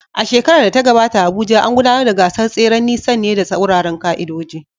A shekarar da ta gabata a Abuja, an gudanar da gasar tseren nisan ne da tsauraran ƙa’idoji.